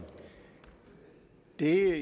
de er